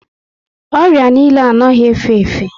Orịa niile anaghị efe efe